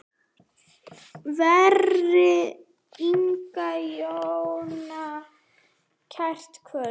Veri Inga Jóna kært kvödd.